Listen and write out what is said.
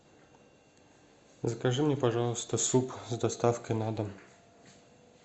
закажи мне пожалуйста суп с доставкой на дом